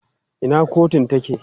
Ina kotun take?